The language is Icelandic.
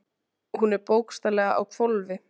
Hún er bókstaflega á hvolfi.